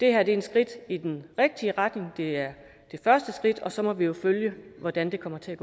er et skridt i den rigtige retning det er det første skridt og så må vi jo følge hvordan det kommer til